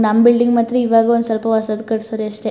ನಮ್ಮ ಬಿಲ್ಡಿಂಗ್ ಮಾತ್ರ ಇವಾಗ ಒಂದು ಸ್ವಲ್ಪ ವರ್ಷದ ಹಿಂದೆ ಕಟಿಸಾರೆ ಅಷ್ಟೇ.